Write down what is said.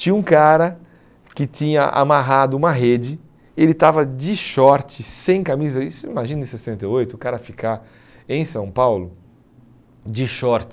Tinha um cara que tinha amarrado uma rede, ele estava de short, sem camisa, isso imagina em sessenta e oito o cara ficar em São Paulo de short.